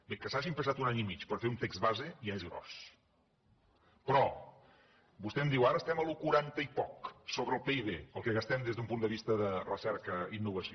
bé que s’hagin passat un any i mig per fer un text base ja és gros però vostè em diu ara estem al quaranta i poc sobre el pib el que gastem des d’un punt de vista de recerca i innovació